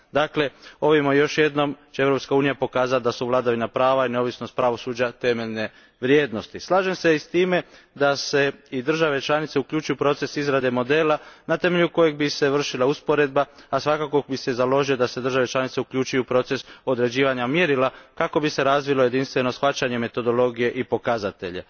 Dakle, ovim će još jedanput Europska unija pokazati da su vladavina prava i neovisnost pravosuđa temeljne vrijednosti. Slažem se i s time da se i države članice uključuju u proces izrade modela na temelju kojeg bi se vršila usporedba, a svakako bih se založio da se države članice uključuju u proces određivanja mjerila kako bi se razvilo jedinstveno shvaćanje metodologije i pokazatelja.